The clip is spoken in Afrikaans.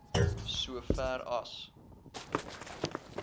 so ver as